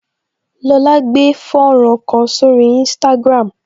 Lola gbé fọ́nrán kan sórí instagram